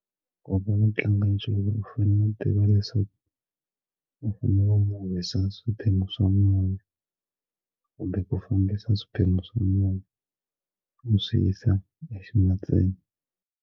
nchumu u fanele u tiva leswaku u fane va mi wisa swiphemu swa mune kumbe ku fambisa swiphemu swa munhu u swi yisa e ximatsini.